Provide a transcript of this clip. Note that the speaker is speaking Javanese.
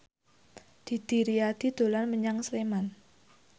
Didi Riyadi dolan menyang Sleman